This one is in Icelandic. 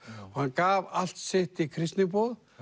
hann gaf allt sitt í kristniboð